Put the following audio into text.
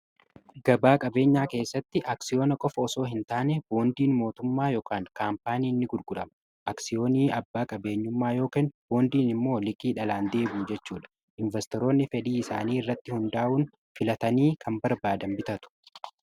gabaa qabeenyaa keessatti aksiyoona qofa osoo hin taane boondiin mootummaa yk kaampaaniini gurgurama aksiyooni abbaa qabeenyummaa yookan boondiin immoo likii dhalaan deebu jechuudha investoroonni fedhii isaanii irratti hundaa'uun filatanii kan barbaadan bitatu